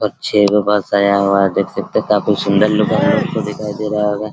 बस आया हुआ है देख सकते है काफी सुंदर लुक दिखाई दे रहा होगा --